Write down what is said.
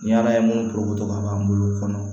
Ni ala ye mun porokoto ka bɔ an bolo kɔnɔ